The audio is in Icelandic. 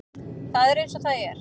Það er eins og það er